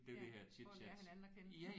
Ja for at lære hinanden at kende